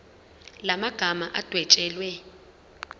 la magama adwetshelwe